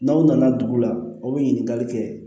N'aw nana dugu la aw bɛ ɲininkali kɛ